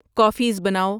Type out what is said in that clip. coffees بناؤ